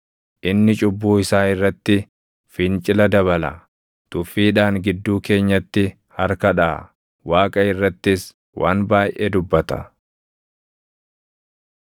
Inni cubbuu isaa irratti fincila dabala; tuffiidhaan gidduu keenyatti harka dhaʼa; Waaqa irrattis waan baayʼee dubbata.”